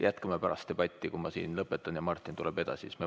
Jätkame seda debatt pärast, kui olen siin lõpetanud ja Martin tuleb edasi.